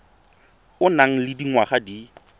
o nang le dingwaga di